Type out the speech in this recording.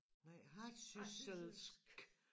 Nej hardsysselsk